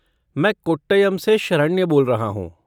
मैं कोट्टयम से शरण्य बोल रहा हूँ।